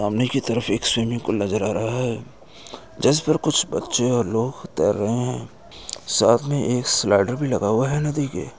सामने की तरफ एक स्विमिंग पूल नजर आ रहा है जिस पर कुछ बच्चे और लोग तैर रहे हैं साथ मे एक स्लाइडर भी लगा हुआ है। नदी के --